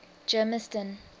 germiston